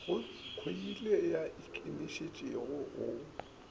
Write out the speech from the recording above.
go khoile ya ikinišene go